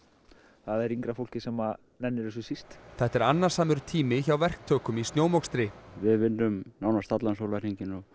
það er yngra fólkið sem nennir þessu síst þetta er annasamur tími hjá verktökum í snjómokstri við vinnum nánast allan sólarhringinn og